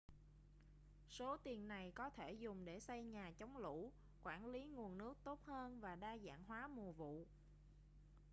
số tiền này có thể dùng để xây nhà chống lũ quản lý nguồn nước tốt hơn và đa dạng hóa mùa vụ